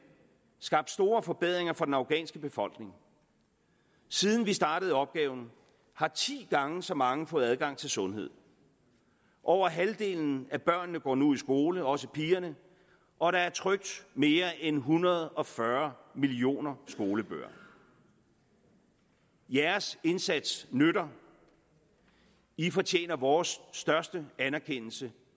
skabt store forbedringer for den afghanske befolkning siden vi startede opgaven har ti gange så mange fået adgang til sundhed over halvdelen af børnene går nu i skole også pigerne og der er trykt mere end en hundrede og fyrre millioner skolebøger jeres indsats nytter i fortjener vores største anerkendelse